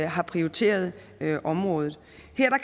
har prioriteret området